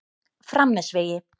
Framnesvegi